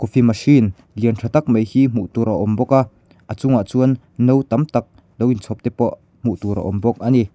coffee machine lian tha tak mai hi hmuh tur a awm a a chungah chuan no tam tak lo in chhawp te pawh hmuh tur a awm bawk a ni.